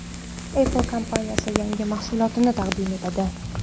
Apple kompaniyasi yangi mahsulotini taqdim etadi.